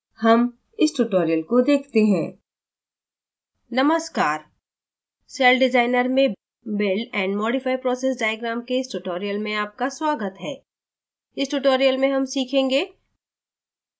हम इस tutorial को देखते है